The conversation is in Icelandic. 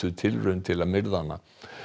tilraun til að myrða hana